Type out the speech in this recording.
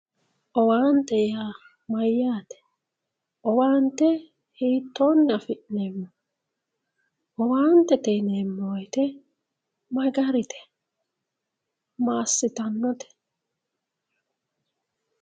owaante yaa mayyaate, owaante hiittoonni afi'neemmo owaantete yineemmo woyiite ma garite massitannote.